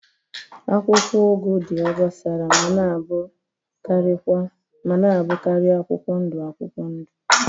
Akwụkwọ ugu dị obosara ma na-abụkarị akwụkwọ ndụ akwụkwọ ndụ